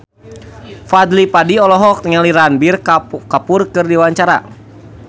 Fadly Padi olohok ningali Ranbir Kapoor keur diwawancara